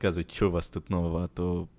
казывайте что у вас тут нового а то